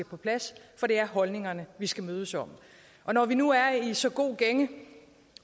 på plads for det er holdningerne vi skal mødes om når vi nu er i så god gænge